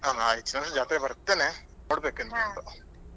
ಹಾ ಆಯ್ತಾ ಜಾತ್ರೆಗೆ ಬರ್ತೇನೆ ನೋಡ್ಬೇಕು ಹಾಗೆ.